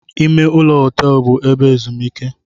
Ime ụlọ họteelu bụ ebe ezumike.